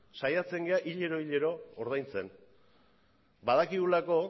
saiatzen gara hilero hilero ordaintzen badakigulako